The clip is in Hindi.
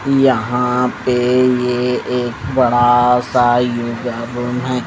यहां पे ये एक बड़ा सा योगा भवन है।